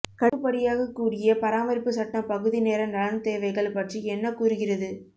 கட்டுப்படியாகக்கூடிய பராமரிப்பு சட்டம் பகுதி நேர நலன் தேவைகள் பற்றி என்ன கூறுகிறது